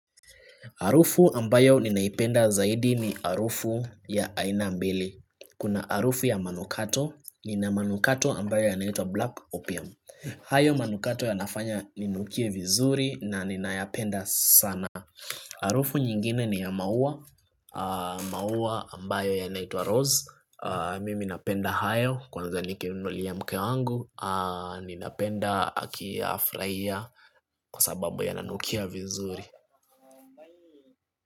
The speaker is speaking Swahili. Harufu ambayo ninaipenda zaidi ni harufu ya aina mbili. Kuna harufu ya manukato, ina manukato ambayo yanaitwa black opium. Hayo manukato yanafanya inukie vizuri na ninayapenda sana. Harufu nyingine ni ya maua, maua ambayo yanaitwa rose. Mimi napenda hayo, kwanza nikinunulia mke wangu. Ninapenda akiyafurahia kwa sababu yananukia vizuri.